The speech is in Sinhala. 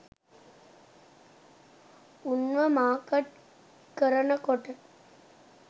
උන්ව මාකට් කරනකොට